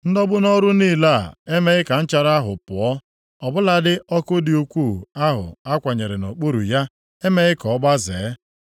Ndọgbu nʼọrụ niile a emeghị ka nchara ahụ pụọ. Ọ bụladị ọkụ dị ukwuu ahụ a kwanyere nʼokpuru ya emeghị ka ọ gbazee.